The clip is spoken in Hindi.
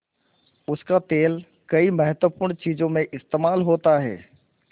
उसका तेल कई महत्वपूर्ण चीज़ों में इस्तेमाल होता है